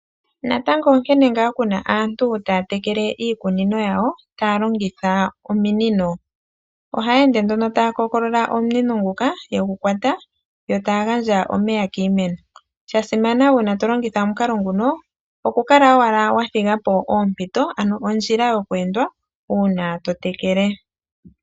Natango onkene ngaa kuna aantu taya tekele iikunino yawo taya longitha ominino, ohaya ende nduno taya kookolola omunino nguka yegu kwata, yo taya gandja omeya kiimeno. Sha simana uuna to lingitha omukalo nguno, okukala owala wa thiga po ompito, ano ondjila yo ku endwa uuna to tekele.